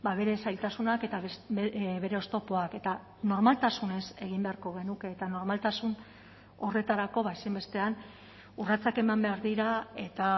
bere zailtasunak eta bere oztopoak eta normaltasunez egin beharko genuke eta normaltasun horretarako ezinbestean urratsak eman behar dira eta